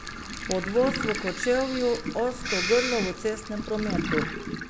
Podvoz v Kočevju, ozko grlo v cestnem prometu.